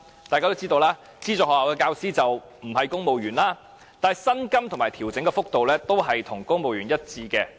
大家都知道，資助學校的教師不是公務員，但薪金和調整幅度和公務員一致。